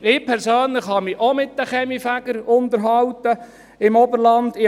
Ich persönlich habe mich auch mit den Kaminfegern im Oberland unterhalten.